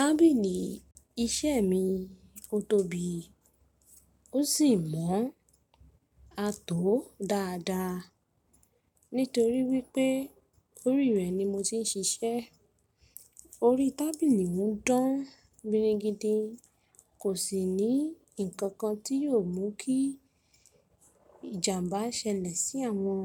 Tábìlì iṣẹ́ mi ó tóbi ó sì mọ́n a tó dáadáa nítorí wípé orí rẹ̀ ni mo ti ń ṣiṣẹ́. Orí tábìlì mi dán bírígidin kò sì ní ǹkankan tí yóò mú kí ìjàǹbá ṣẹlẹ̀ sí àwọn